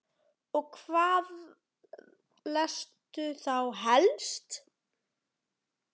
Og hvað lestu þá helst?